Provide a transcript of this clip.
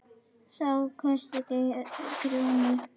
Þá hvæsti Grjóni: